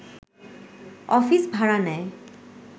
office ভাড়া নেয়